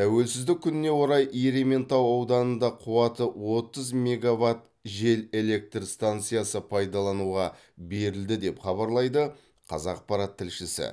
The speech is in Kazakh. тәуелсіздік күніне орай ерейментау ауданында қуаты отыз мегаватт жел электр станциясы пайдалануға берілді деп хабарлайды қазақпарат тілшісі